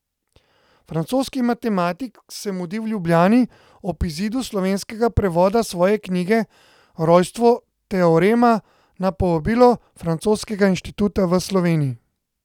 Francoski matematik se mudi v Ljubljani ob izidu slovenskega prevoda svoje knjige Rojstvo teorema na povabilo Francoskega inštituta v Sloveniji.